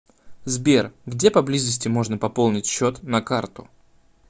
сбер где поблизости можно пополнить счет на карту